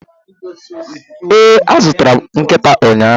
Ee, azụrụ m nkịta ụnyahụ.